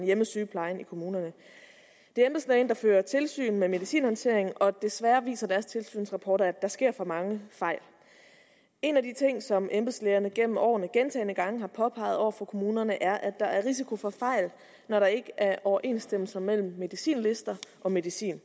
hjemmesygeplejen i kommunerne det er embedslægen der fører tilsyn med medicinhåndteringen og desværre viser deres tilsynsrapporter at der sker for mange fejl en af de ting som embedslægerne gennem årene gentagne gange har påpeget over for kommunerne er at der er risiko for fejl når der ikke er overensstemmelse mellem medicinlister og medicin